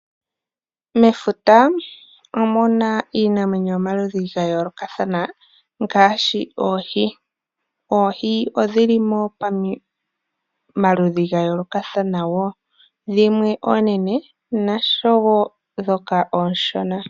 Mefuta opuna iinamwenyo yomaludhi ga yolokathana ngashi oohi, oohi odhili mo pamaludhi gayolokathana wo dhimwe oonene oshowo dhoka oonshona.